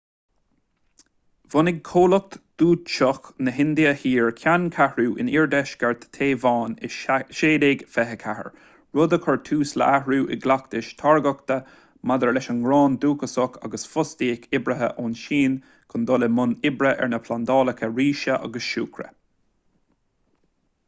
bhunaigh comhlacht dúitseach na hindia thoir ceanncheathrú in iardheisceart téaváin i 1624 rud a chuir tús le hathrú i gcleachtais táirgeachta maidir leis an ngrán dúchasach agus fostaíodh oibrithe ón tsín chun dul i mbun oibre ar na plandálacha ríse agus siúcra